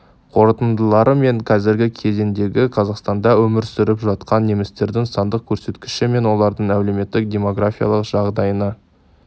қорытындылары мен қазіргі кезеңдегі қазақстанда өмір сүріп жатқан немістердің сандық көрсеткіші мен олардың әлеуметтік-демографиялық жағдайына